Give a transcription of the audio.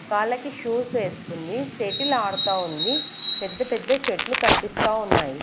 కాళ్ళకి షూస్ ఏసుకుంది షెటిల్ ఆడుతా ఉందిపెద్ద పెద్ద చెట్లు కనిపిస్తా ఉన్నాయి.